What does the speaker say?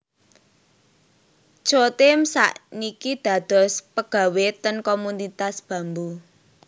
Chotim sak niki dados pegawe ten Komunitas Bambu